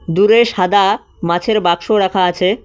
দূরে সাদা মাছের বাক্স রাখা আছে।